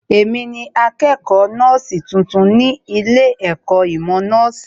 Èmi ni akẹ́kọ̀ọ́ nọ́ọ̀sì tuntun ní ilé ẹ̀kọ́ ìmọ̀ nọ́ọ̀sì